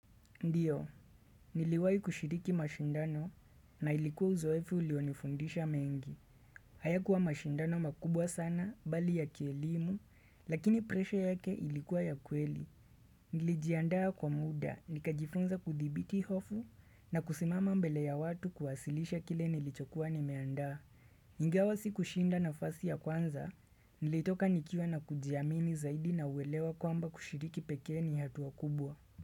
Ndiyo, niliwai kushiriki mashindano na ilikuwa uzoefu ulionifundisha mengi. Haya kuwa mashindano makubwa sana, bali ya kielimu, lakini presha yake ilikuwa ya kweli. Nilijiandaa kwa muda, nikajifunza kudhibiti hofu na kusimama mbele ya watu kuwasilisha kile nilichokuwa nimeandaa. Ingawa kushinda na fasi ya kwanza, nilitoka nikiwa na kujiamini zaidi na uwelewa kwamba kushiriki peke ni hatua kubwa.